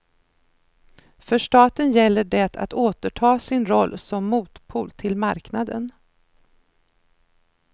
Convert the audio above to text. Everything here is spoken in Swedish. För staten gäller det att återta sin roll som motpol till marknaden.